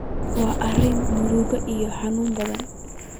Waa arrin murugo iyo xanuun badan.